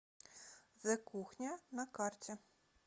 зе кухня на карте